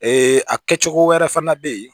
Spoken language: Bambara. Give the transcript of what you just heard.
a kɛcogo wɛrɛ fana be yen